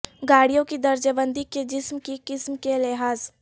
گاڑیوں کی درجہ بندی کے جسم کی قسم کے لحاظ